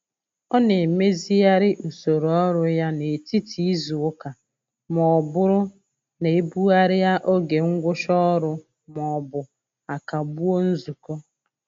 Ọ na-emezigharị usoro ọrụ ya n'etiti izuụka ma ọ bụrụ na e bugharịa oge ngwụcha ọrụ maọbụ a kagbuo nzukọ.